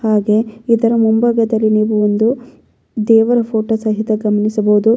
ಹಾಗೆ ಇದರ ಮುಂಭಾಗದಲ್ಲಿ ನೀವು ಒಂದು ದೇವರ ಫೋಟೋ ಸಹಿತ ಗಮನಿಸಬಹುದು.